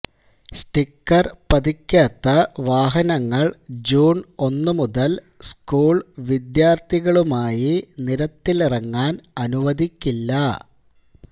sticker പതിക്കാത്ത വാഹനങ്ങള് June ഒന്ന് മുതല് സ്കൂള് വിദ്യാര്ഥികളുമായി നിരത്തിലിറങ്ങാന് അനുവദിക്കില്ല